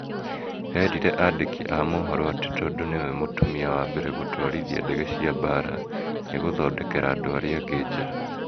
Erire andĩki a mohoro atĩ tondũ nĩwe mũtumia wa mbere gũtwarithia ndege cia mbaara, nĩegũthondekera andũ arĩa angĩ njĩra.